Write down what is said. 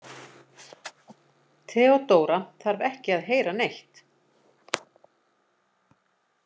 Theodóra þarf ekki að heyra neitt.